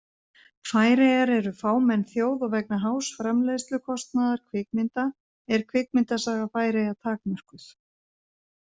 Færeyjar eru fámenn þjóð og vegna hás framleiðslukostnaðar kvikmynda er kvikmyndasaga færeyja takmörkuð.